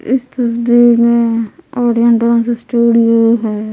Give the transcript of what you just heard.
इस तस्वीर मैं ऑडियंस डांस स्टूडियो है।